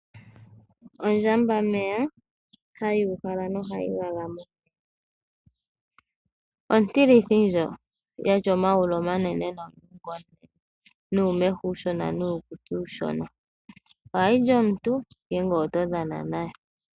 Ondjamba meya, hayi ihala nohayi lala momeya. Ontilithi ndjo, yatya omayulu omanene nomakondo, nuumeho uushona nuukutsi uushona. Ohayi li omuntu, ngele oto dhana nayo.